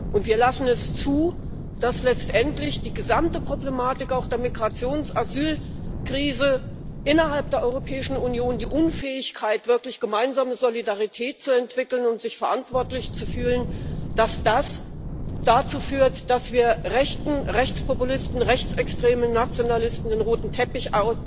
Und wir lassen es zu, dass letztendlich die gesamte Problematik, auch die der Migrations der Asylkrise, innerhalb der Europäischen Union, die Unfähigkeit, wirklich gemeinsame Solidarität zu entwickeln und sich verantwortlich zu fühlen, dazu führt, dass wir Rechten, Rechtspopulisten, Rechtsextremen, Nationalisten den roten Teppich